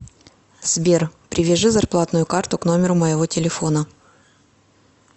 сбер привяжи зарплатную карту к номеру моего телефона